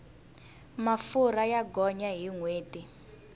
mafurha ya gonya hi nhweti